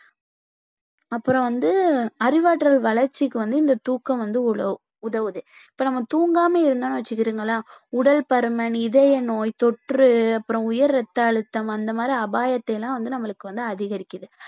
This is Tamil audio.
அப்புறம் வந்து அறிவாற்றல் வளர்ச்சிக்கு வந்து இந்த தூக்கம் வந்து உத~ உதவுது இப்ப நம்ம தூங்காம இருந்தோன்னு வச்சுக்கிருங்களேன் உடல் பருமன், இதய நோய், தொற்று, அப்புறம் உயர் ரத்தஅழுத்தம் அந்த மாதிரி அபாயத்தை எல்லாம் வந்து நம்மளுக்கு வந்து அதிகரிக்குது